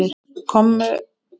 Komu þá saman í